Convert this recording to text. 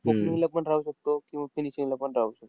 opening ला पण राहू शकतो, किंवा finishing लापण राहू शकतो.